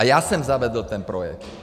A já jsem zavedl ten projekt.